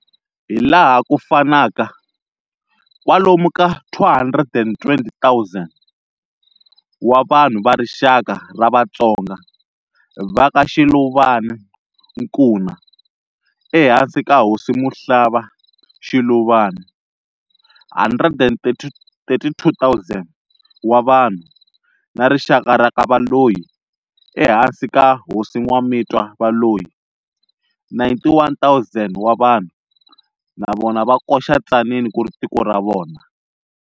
Hilaha ku fanaka, kwalomu ka 220 000 vanhu va rixaka ra Vatsonga va ka Shiluvane-Nkuna ehansi ka Hosi Muhlaba-Shiluvane, 132 000 wa vanhu, na rixaka ra kaValoyi ehansi ka Hosi Nwamitwa-Valoyi, 91 000 wa vanhu, navona va koxa Tzaneen kuri tiko ra vona.